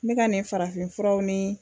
Ne ka nin farafinfuraw ni